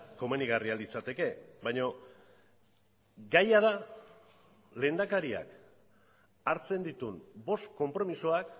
komenigarria litzateke baina gaia da lehendakariak hartzen dituen bost konpromisoak